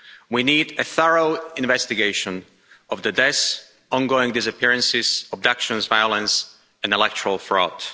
We need a thorough investigation of the deaths, ongoing disappearances, abductions, violence and electoral fraud.